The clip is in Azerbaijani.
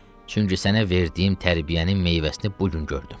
Çünki sənə verdiyim tərbiyənin meyvəsini bu gün gördüm.